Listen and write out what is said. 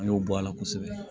An y'o bɔ a la kosɛbɛ